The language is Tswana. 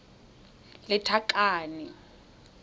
lethakane